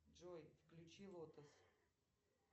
джой включи лотос